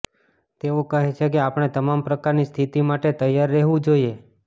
તેઓ કહે છે કે આપણે તમામ પ્રકારની સ્થિતિ માટે તૈયાર રહેવું જોઇએ